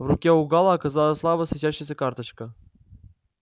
в руке у гаала оказалась слабо светящаяся карточка